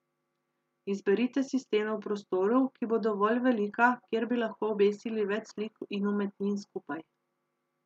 Izberite si steno v prostoru, ki bo dovolj velika, kjer bi lahko obesili več slik in umetnin skupaj.